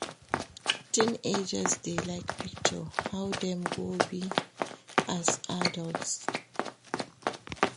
Teenagers de like picture how dem go be as adults